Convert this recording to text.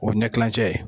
O ye ɲɛ kilancɛ ye